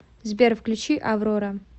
сбер включи аврора